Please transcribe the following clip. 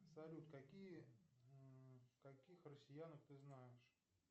салют какие каких россиянок ты знаешь